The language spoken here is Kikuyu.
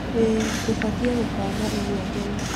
ĩĩ, tũbatie gũbanga ũguo tene.